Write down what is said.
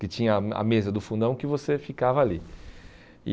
que tinha a a mesa do fundão que você ficava ali. E